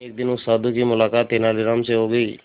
एक दिन उस साधु की मुलाकात तेनालीराम से हो गई